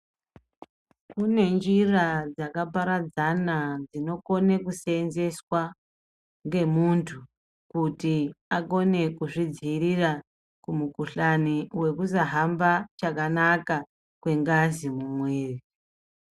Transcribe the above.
Kune nzira dzakaparadzana dzinokone kusenzeswa ngemuntu kuti akone kuzvidziirira kumukuhlani wekusahamba kwakanaka kwengazi mumwiri.